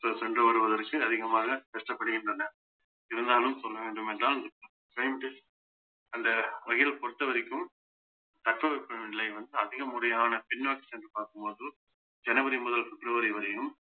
சென்று வருவதற்கு அதிகமாக கஷ்டப்படுகின்றனர் இருந்தாலும் சொல்ல வேண்டுமென்றால் அந்த வகையில பொறுத்தவரைக்கும் தட்பவெப்பநிலை வந்து அதிக முறையான பின்னோக்கி சென்று பார்க்கும் போது ஜனவரி முதல் பிப்ரவரி வரையும்